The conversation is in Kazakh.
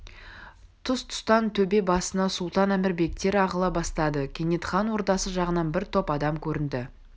тұс-тұстан төбе басына сұлтан әмір бектер ағыла бастады кенет хан ордасы жағынан бір топ адам көрінді